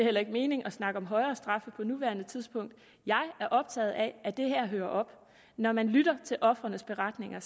heller ikke mening at snakke om højere straffe på nuværende tidspunkt jeg er optaget af at det her hører op når man lytter til ofrenes beretninger